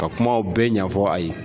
Ka kumaw bɛɛ ɲɛfɔ a ye